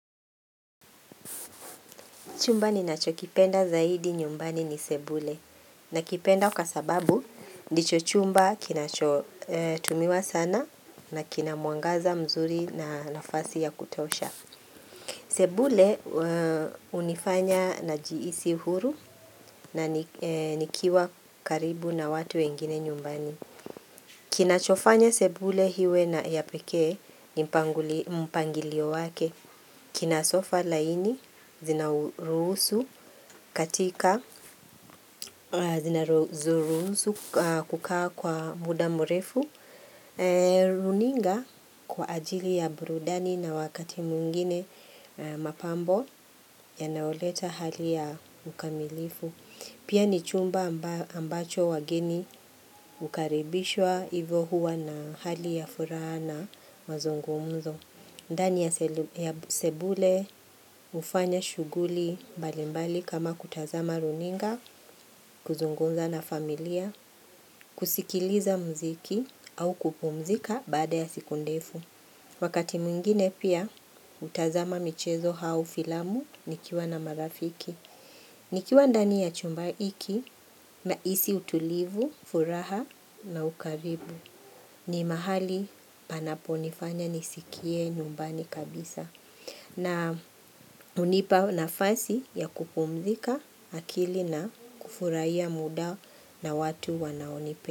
Chumba ni nacho kipenda zaidi nyumbani ni sebule na kipenda kwa sababu ndicho chumba kinachotumiwa sana na kinamuangaza mzuri na nafasi ya kutosha. Sebule hunifanya najiisi huru na nikiwa karibu na watu wengine nyumbani. Kinachofanya sebule iwe na ya pekee ni mpangilio wake. Kinasofa laini, zinaurusu katika, zinaurusu kukaa kwa mudamrefu, runinga kwa ajili ya burudani na wakati mwingine mapambo yanaoleta hali ya ukamilifu. Pia ni chumba ambacho wageni ukaribishwa hivyo huwa na hali ya furaha na mazungumuzo. Ndani ya sebule, hufanya shughuli mbalimbali kama kutazama runinga, kuzungunza na familia, kusikiliza muziki au kupumzika bada ya siku ndefu. Wakati mwingine pia, hutazama michezo au filamu nikiwa na marafiki. Nikiwa ndani ya chumbaiki, isi utulivu, furaha na ukaribu. Ni mahali panapo nifanya nisikie nyumbani kabisa. Na hunipa na fasi ya kupumzika akili na kufurahia muda na watu wanaonipe.